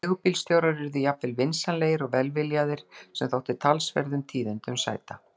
Leigubílstjórar urðu jafnvel vinsamlegir og velviljaðir, sem þótti talsverðum tíðindum sæta!